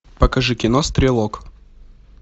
покажи кино стрелок